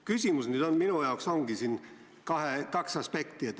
Küsimus on selle kohta, et minu jaoks on siin mängus kaks aspekti.